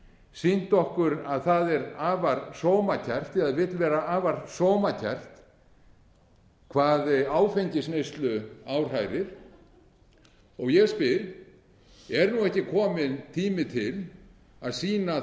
sýnt okkur að það er afar sómakært eða vill vera afar sómakært hvað áfengisneyslu áhrærir ég spyr er nú ekki kominn tími til að sýna